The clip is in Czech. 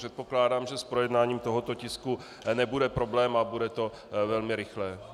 Předpokládám, že s projednáním tohoto tisku nebude problém a bude to velmi rychlé.